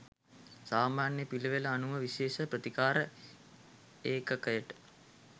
සාමාන්‍ය පිළිවෙළ අනුව විශේෂ ප්‍රතිකාර ඒකකයට